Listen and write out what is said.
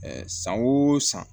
san o san